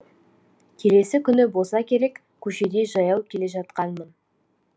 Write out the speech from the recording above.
келесі күні болса керек көшеде жаяу келе жатқанмын